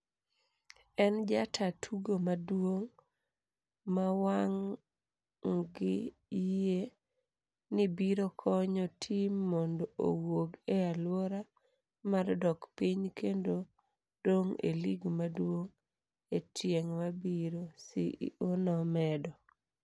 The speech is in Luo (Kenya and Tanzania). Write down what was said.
En jataa tugo maduong' ma wang gi yie ni biro konyo tim mondo owuog e alwora mar dok piny kendo dong' e lig maduong' e tieng' mabiro," CEO nomedo.